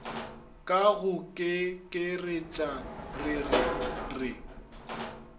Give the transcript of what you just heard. ka go kekeretša rere re